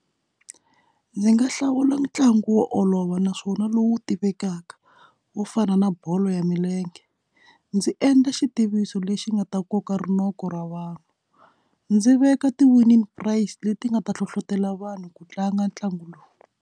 Ndzi nga hlawula ntlangu wo olova naswona lowu tivekaka wo fana na bolo ya milenge ndzi endla xitiviso lexi nga ta koka rinoko ra vanhu ndzi veka ti winile price leti nga ta hlohlotelo vanhu ku tlanga ntlangu lowu.